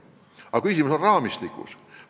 Aga küsimus on raamistikus.